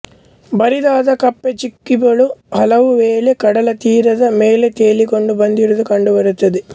ಬರಿದಾದ ಕಪ್ಪೆಚಿಪ್ಪುಗಳು ಹಲವುವೇಳೆ ಕಡಲತೀರಗಳ ಮೇಲೆ ತೇಲಿಕೊಂಡು ಬಂದಿರುವುದು ಕಂಡುಬರುತ್ತದೆ